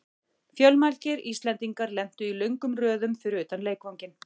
Fjölmargir Íslendingar lentu í löngum röðum fyrir utan leikvanginn.